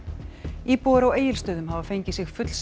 íbúar á Egilsstöðum hafa fengið sig fullsadda